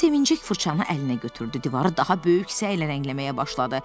O sevinəcək fırçanı əlinə götürdü, divarı daha böyük səylə rəngləməyə başladı.